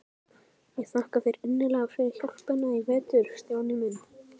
Ég þakka þér innilega fyrir hjálpina í vetur, Stjáni minn.